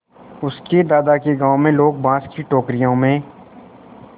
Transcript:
उसके दादा के गाँव में लोग बाँस की टोकरियों में